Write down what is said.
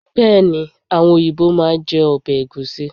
Bẹ́ẹ̀ni, àwọn òyìnbó máa jẹ ọbẹ̀ Ẹ̀gúsí.